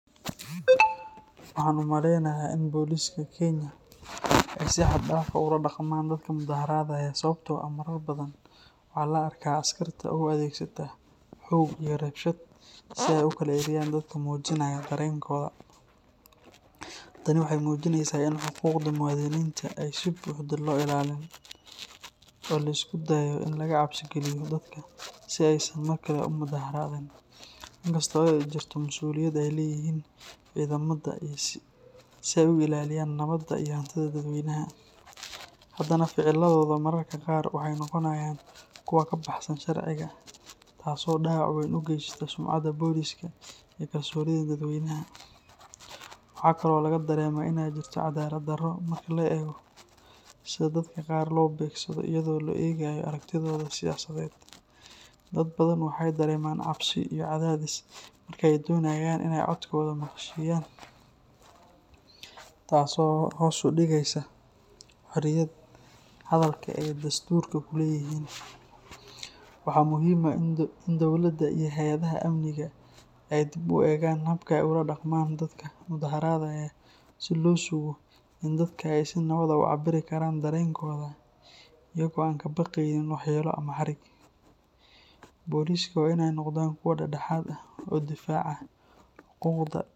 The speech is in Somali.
Waxaan u maleynayaa in boliska Kenya ay si xad dhaaf ah ula dhaqmaan dadka mudaharaadaya sababtoo ah marar badan waxaa la arkaa askarta oo adeegsada xoog iyo rabshad si ay u kala eryaan dadka muujinaya dareenkooda. Tani waxay muujinaysaa in xuquuqda muwaadiniinta aan si buuxda loo ilaalin oo la isku dayayo in laga cabsi geliyo dadka si aysan mar kale u mudaharaadin. Inkasta oo ay jirto mas’uuliyad ay leeyihiin ciidamada si ay u ilaaliyaan nabadda iyo hantida dadweynaha, haddana ficilladooda mararka qaar waxay noqonayaan kuwo ka baxsan sharciga, taasoo dhaawac weyn u geysata sumcadda booliska iyo kalsoonida dadweynaha. Waxa kale oo laga dareemaa in ay jirto caddaalad darro marka la eego sida dadka qaar loo beegsado iyadoo loo eegayo aragtidooda siyaasadeed. Dad badan waxay dareemayaan cabsi iyo cadaadis marka ay doonayaan in ay codkooda maqashiyaan, taasoo hoos u dhigaysa xorriyadda hadalka ee ay dastuurka ku leeyihiin. Waxa muhiim ah in dowladda iyo hay’adaha amniga ay dib u eegaan habka ay ula dhaqmaan dadka mudaharaadaya si loo sugo in dadku ay si nabad ah u cabbiri karaan dareenkooda iyagoo aan ka baqaynin waxyeello ama xarig. Booliska waa in ay noqdaan kuwo dhexdhexaad ah oo difaaca xuquuqda.